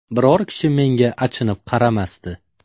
Biror kishi menga achinib qaramasdi.